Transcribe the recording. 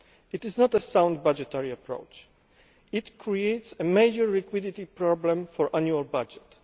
year. That is not a sound budgetary approach it creates a major liquidity problem for the annual budget.